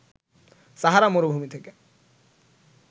সাহারা মরুভূমি থেকে